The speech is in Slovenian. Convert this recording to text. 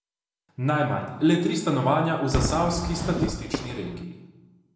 Najmanj, le tri stanovanja, v zasavski statistični regiji.